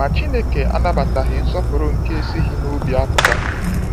Ma Chineke anabataghị nsọpụrụ nke esighi n'obi apụta.